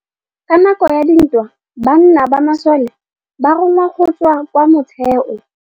Ka nakô ya dintwa banna ba masole ba rongwa go tswa kwa mothêô.